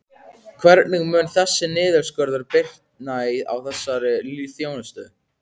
Hvernig mun þessi niðurskurður bitna á þessari þjónustu?